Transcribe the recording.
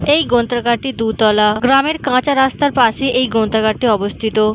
এই গ্রন্থাগার টি দুতলা। গ্রামের কাঁচা রাস্তার পাশে এই গ্রন্থাগার টি অবস্থিত।